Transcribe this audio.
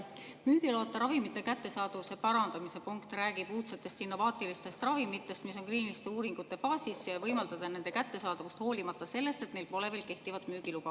Müügiloata ravimite kättesaadavuse parandamise punkt räägib uudsetest, innovaatilistest ravimitest, mis on kliiniliste uuringute faasis, et võimaldada nende kättesaadavust, hoolimata sellest, et neil pole veel kehtivat müügiluba.